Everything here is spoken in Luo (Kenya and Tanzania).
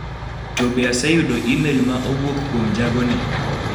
To be aseyudo imel ma owuok kuom jagoni?